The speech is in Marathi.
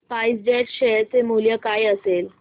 स्पाइस जेट शेअर चे मूल्य काय असेल